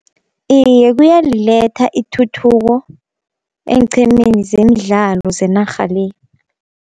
Iye kuyaliletha ithuthuko eenqhemeni zemidlalo zenarha le.